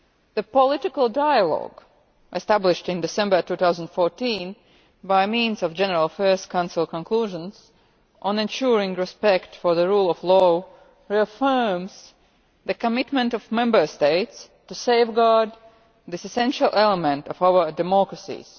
The political dialogue established in December 2014, by means of the General Affairs Council conclusions on ensuring respect for the rule of law, reaffirms the commitment of Member States to safeguarding this essential element of our democracies.